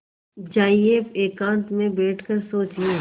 जाइए एकांत में बैठ कर सोचिए